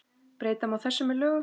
Breyta má þessu með lögum